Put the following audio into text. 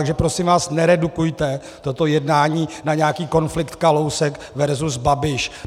Takže prosím vás, neredukujte toto jednání na nějaký konflikt Kalousek versus Babiš.